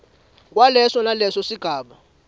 kwaleso naleso sigaba